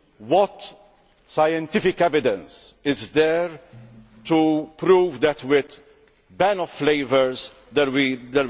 smokers. What scientific evidence is there to prove that with a ban on flavours there